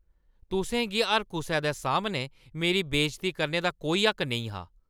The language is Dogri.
तुसें गी हर कुसै दे सामनै मेरी बेजती करने दा कोई हक्क नेईं हा।